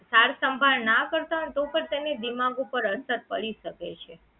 સાર સંભાળ ના કરતા હોય ને તો પણ એને દિમાગ ઉપર અસર પડી શકે છે